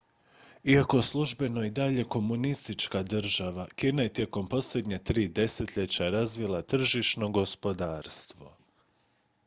iako službeno i dalje komunistička država kina je tijekom posljednja tri desetljeća razvila tržišno gospodarstvo